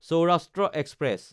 Saurashtra express